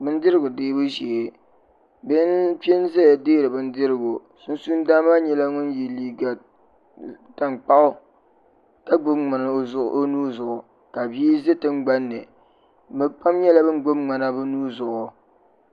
bɛnidirigu dɛbu shɛɛ bihi n pɛʒɛya dɛri bɛnidirigu sunsuuni dana maa nyɛla ŋɔ yɛ liga tankpagu ka gbabi ŋmɛni o nuzuɣ' ka bi ʒɛ tiŋgbani be pam nyɛla ban gbabi ŋmɛna be nuni